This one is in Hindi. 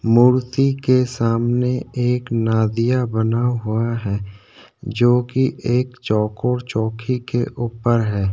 मूर्ति के सामने एक नदिया बना हुआ है जो की एक चौकोर चौकी के ऊपर है।